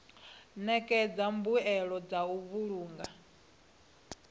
ṋekedza mbuelo dza u vhulunga